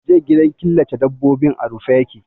Jiya gidan killace dabbobin a rufe ya ke.